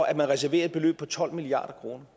at man reserverer et beløb på tolv milliard kroner